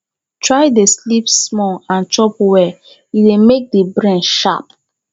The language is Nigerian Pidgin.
try de sleep small and chop well e de make di brain sharp